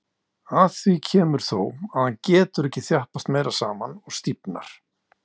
Að því kemur þó, að hann getur ekki þjappast meira saman og stífnar.